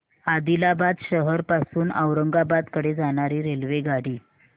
आदिलाबाद शहर पासून औरंगाबाद कडे जाणारी रेल्वेगाडी